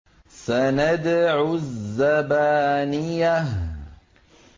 سَنَدْعُ الزَّبَانِيَةَ